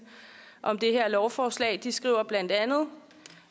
om det her lovforslag de skriver bla